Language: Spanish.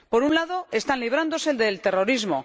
Por un lado, están librándose del terrorismo